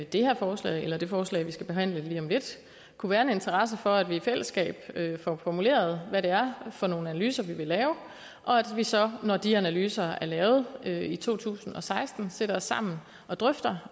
det her forslag eller det forslag vi skal behandle lige om lidt kunne være en interesse for at vi i fællesskab får formuleret hvad det er for nogle analyser vi vil lave og at vi så når de analyser er lavet i to tusind og seksten sætter os sammen og drøfter